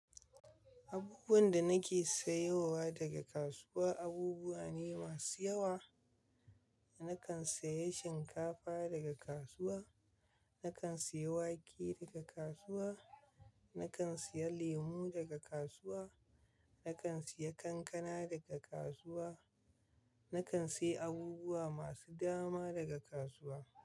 Abubuwan da nake sayowa daga kasuwa abubuwa ne masu yawa. Nakan saye shinkafa daga kasuwa, nakan saye wake daga kasuwa, nakan saye lemu daga kasuwa, nakan saye kankana daga kasuwa, nakan sayi abubuwa masu dama daga kasuwa.